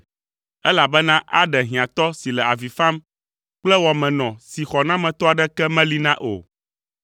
elabena aɖe hiãtɔ si le avi fam kple wɔmenɔ si xɔnametɔ aɖeke meli na o.